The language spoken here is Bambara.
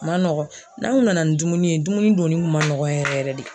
Ma nɔgɔn, n'an ŋun nana ni dumuni ye dumuni donni ŋun ma nɔgɔn yɛrɛ yɛrɛ de.